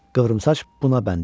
Qıvrımsaç buna bənd imiş.